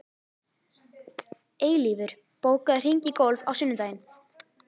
Eilífur, bókaðu hring í golf á sunnudaginn.